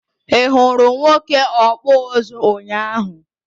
I hụrụ nwoke ọkpụ ụzụ ụnyaahụ?